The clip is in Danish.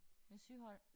Med syhold